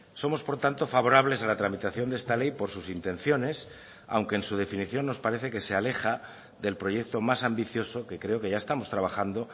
somos por tanto favorables a la tramitación de esta ley por sus intenciones aunque en su definición nos parece que se aleja del proyecto más ambicioso que creo que ya estamos trabajando